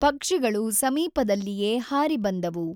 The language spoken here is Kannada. ಪಕ್ಷಿಗಳು ಸಮೀಪದಲ್ಲಿಯೇ ಹಾರಿ ಬಂದವು.